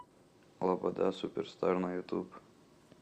лобода суперстар на ютуб